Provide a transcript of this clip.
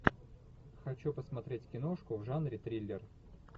хочу посмотреть киношку в жанре триллер